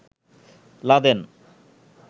Laden